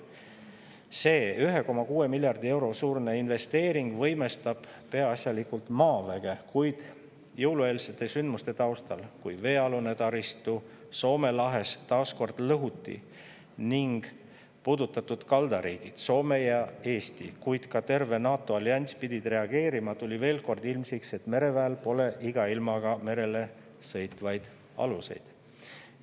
See 1,6 miljardi euro suurune investeering võimestab peaasjalikult maaväge, kuid jõulueelsete sündmuste taustal, kui veealune taristu Soome lahes taas kord lõhuti ning puudutatud kaldariigid Soome ja Eesti, kuid ka terve NATO allianss pidid reageerima, tuli veel kord ilmsiks, et mereväel pole iga ilmaga merele sõitvaid aluseid.